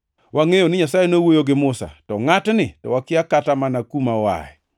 Wangʼeyo ni Nyasaye nowuoyo gi Musa, to ngʼatni to wakia kata mana kuma oaye.”